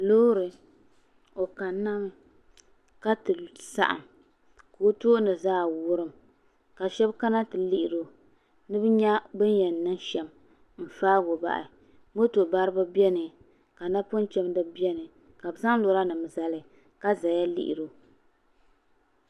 Loori o kanna mi ka ti saɣam ka o tooni zaa wurim ka shab kana ti lihiri o ni bi nyɛ bi ni yɛn niŋ shɛm n faago bahi moto baribi biɛni ka napɔŋ chɛndibi biɛni ka bi zaŋ lora nim zali ka ʒɛya lihiri o